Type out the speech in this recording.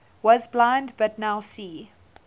was blind but now see